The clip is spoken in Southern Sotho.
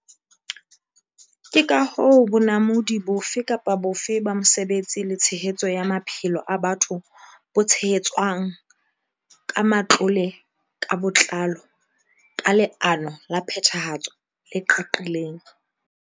Ke ka hoo bonamodi bofe kapa bofe ba mosebetsi le tshehetso ya maphelo a batho bo tshehetswang ka matlole ka botlalo, ka leano la phethahatso le qaqileng.